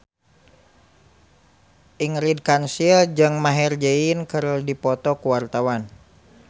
Ingrid Kansil jeung Maher Zein keur dipoto ku wartawan